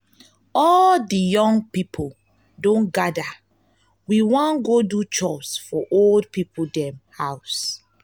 all di young pipo don gada we wan godo chores for old pipo dem home.